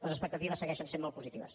les expectatives segueixen sent molt positives